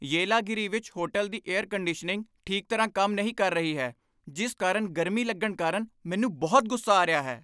ਯੇਲਾਗਿਰੀ ਵਿੱਚ ਹੋਟਲ ਦੀ air conditioning ਠੀਕ ਤਰ੍ਹਾਂ ਕੰਮ ਨਹੀਂ ਕਰ ਰਹੀ ਹੈ ਜਿਸ ਕਾਰਨ ਗਰਮੀ ਲੱਗਣ ਕਾਰਨ ਮੈਨੂੰ ਬਹੁਤ ਗੁੱਸਾ ਆ ਰਿਹਾ ਹੈ।